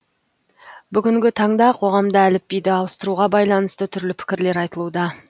бүгінгі таңда қоғамда әліпбиді ауыстыруға байланысты түрлі пікірлер айтылуда